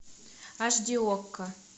аш ди окко